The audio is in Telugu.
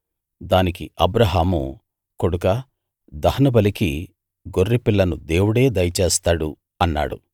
దానికి అబ్రాహాము కొడుకా దహనబలికి గొర్రెపిల్లను దేవుడే దయచేస్తాడు అన్నాడు